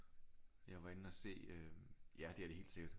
Jeg var inde og se øh ja det er det helt sikkert